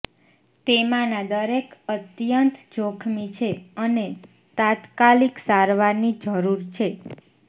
તેમાંના દરેક અત્યંત જોખમી છે અને તાત્કાલિક સારવારની જરૂર છે